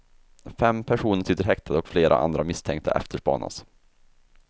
Fem personer sitter häktade och flera andra misstänkta efterspanas.